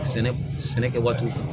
Sɛnɛ sɛnɛ kɛ waati